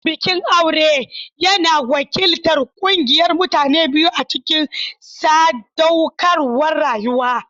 Bikin aure yana wakiltar ƙungiyar mutane biyu a cikin sadaukarwar rayuwa.